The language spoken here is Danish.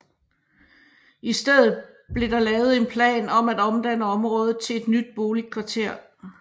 I stedet blev der lavet en plan om at omdanne området til et nyt boligkvarter